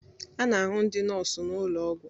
A na-ahụ ndị nọọsụ na ụlọ ọgwụ